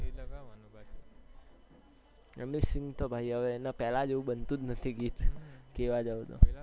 એમની sing તો ભાઈ હવે એના પેહલા જેવું બનતુજ નથી ગીત કેહવા જાઉં તો